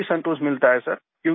हमको भी संतोष मिलता है सर